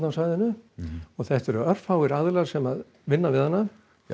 á svæðinu þetta eru örfáir aðilar sem vinna við hana já